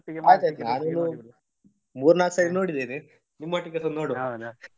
ನಾನ್ ಒಂದು ಮೂರು ನಾಲ್ಕು ಸತಿ ನೋಡಿದೇನೆ ನಿಮ್ ಒಟ್ಟಿಗೆಸ ನೋಡ್ವ .